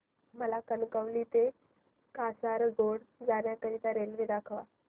मला कणकवली ते कासारगोड जाण्या करीता रेल्वे दाखवा